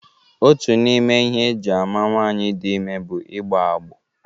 Otu n'ime ihe eji ama nwaanyị dị ime bụ igbọ agbọ.